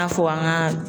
N'a fɔ an ka